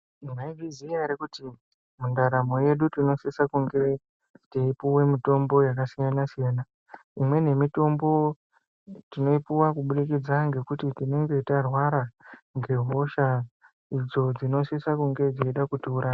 Mwaizviziya ere kuti mundaramo yedu tinosise kunge teipuwe mitombo yakasiyana -siyana. Imweni yemitombo tinoipuwa kubudikidze ngekuti tinenge tarwara ngehosha idzo dzinosise kunge dzeide kutiuraya.